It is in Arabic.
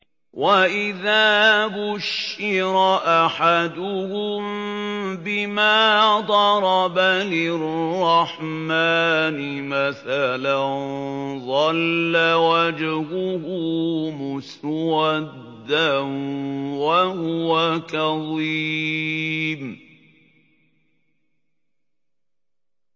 وَإِذَا بُشِّرَ أَحَدُهُم بِمَا ضَرَبَ لِلرَّحْمَٰنِ مَثَلًا ظَلَّ وَجْهُهُ مُسْوَدًّا وَهُوَ كَظِيمٌ